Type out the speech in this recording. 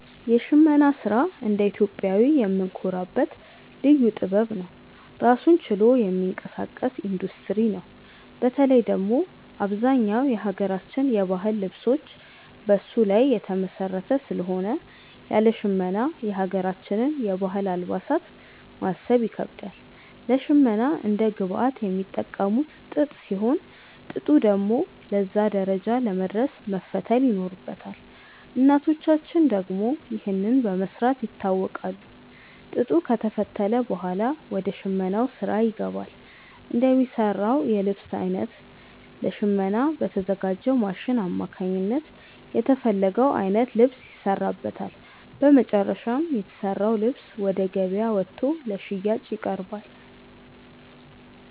የሽመና ስራ እንደ ኢትዮጵያዊ የምንኮራበት ልዩ ጥበብ ነው። ራሱን ችሎ የሚንቀሳቀስ ኢንዱስትሪ ነው። በተለይ ደግሞ አብዛኛው የሀገራችን የባህል ልብሶች በሱ ላይ የተመሰረተ ስለሆነ ያለ ሽመና የሀገራችንን የባህል አልባሳት ማሰብ ይከብዳል። ለሽመና እንደ ግብአት የሚጠቀሙት ጥጥ ሲሆን፣ ጥጡ ደግሞ ለዛ ደረጃ ለመድረስ መፈተል ይኖርበታል። እናቶቻችን ደግሞ ይህንን በመስራት ይታወቃሉ። ጥጡ ከተፈተለ ብኋላ ወደ ሽመናው ስራ ይገባል። እንደሚሰራው የልብስ አይነት ለሽመና በተዘጋጅው ማሽን አማካኝነት የተፈለገው አይነት ልብስ ይሰራበታል። በመጨረሻም የተሰራው ልብስ ወደ ገበያ ወጥቶ ለሽያጭ ይቀርባል።